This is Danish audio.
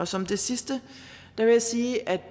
som det sidste vil jeg sige at